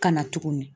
Ka na tuguni